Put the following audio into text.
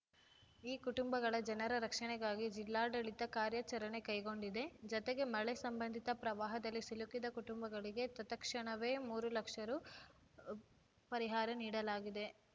ಈ ಕುಟುಂಬಗಳ ಜನರ ರಕ್ಷಣೆಗಾಗಿ ಜಿಲ್ಲಾಡಳಿತ ಕಾರ್ಯಾಚರಣೆ ಕೈಗೊಂಡಿದೆ ಜತೆಗೆ ಮಳೆ ಸಂಬಂಧಿತ ಪ್ರವಾಹದಲ್ಲಿ ಸಿಲುಕಿದ ಕುಟುಂಬಗಳಿಗೆ ತತ್‌ಕ್ಷಣವೇ ಮೂರು ಲಕ್ಷ ರು ಹು ಪರಿಹಾರ ನೀಡಲಾಗಿದೆ